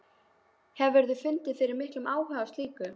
Hefurðu fundið fyrir miklum áhuga á slíku?